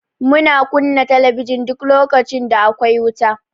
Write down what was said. Muna kunna talabijin duk lokacin da akwai wuta.